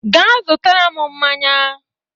Ga zụtara m mmanya